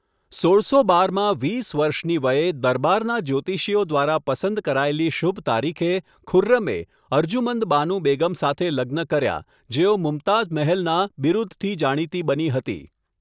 સોળસો બારમાં, વીસ વર્ષની વયે, દરબારના જ્યોતિષીઓ દ્વારા પસંદ કરાયેલી શુભ તારીખે, ખુર્રમે અર્જુમંદ બાનુ બેગમ સાથે લગ્ન કર્યા, જેઓ મુમતાઝ મહેલના બિરુદથી જાણીતી બની હતી.